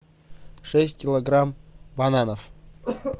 шесть килограмм бананов